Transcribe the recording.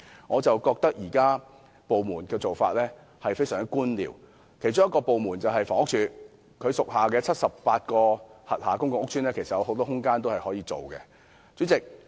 我覺得政府部門現行的做法非常官僚，其中之一是房屋署，其轄下的78個公共屋邨其實可提供很多空間發展墟市。